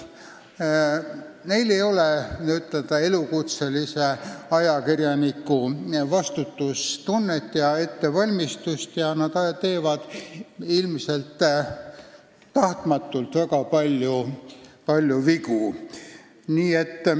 Neil ei ole n-ö elukutselise ajakirjaniku vastutustunnet ega ettevalmistust ja nad teevad – ilmselt tahtmatult – väga palju vigu.